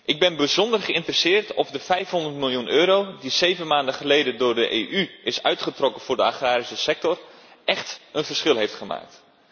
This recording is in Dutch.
Ik ben bijzonder geïnteresseerd in de vraag of de 500 miljoen euro die zeven maanden geleden door de EU is uitgetrokken voor de agrarische sector echt een verschil heeft gemaakt.